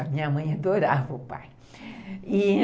A minha mãe adorava o pai, e